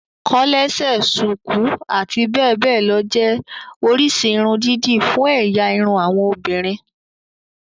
Kòlẹ́sẹ̀, ṣùkú, àti bẹ́ẹ̀ bẹ́ẹ̀ lọ jẹ́ oríṣi irun dídì fún ẹ̀yà irun àwọn obìnrin